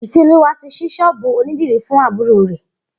Ifeoluwa ti ṣí ṣọ́ọ̀bù ónìdìrí fùn àbùró rè